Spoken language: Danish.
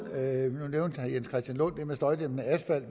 det med støjdæmpende asfalt